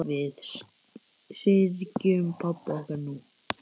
Við syrgjum pabba okkar nú.